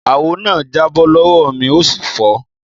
Àwó na jàbọ́ lọwọ mi òsí fọ.